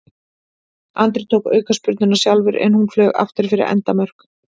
Andri tók aukaspyrnuna sjálfur en hún flaug aftur fyrir endamörk.